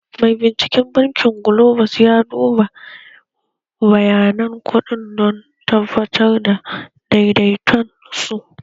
Mai binciken bankin Globus ya duba bayanan kuɗin don tabbatar da daidaiton su